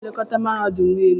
Onye na-elekọta mahadum niile?